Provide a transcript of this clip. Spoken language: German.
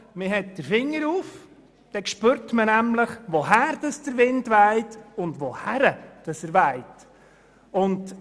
Man hält den Finger in die Luft, dann spürt man, woher der Wind weht, und auch wohin.